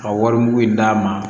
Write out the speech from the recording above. A wari mugu in d'a ma